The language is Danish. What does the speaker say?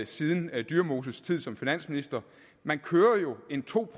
siden dyremoses tid som finansminister man kører jo en to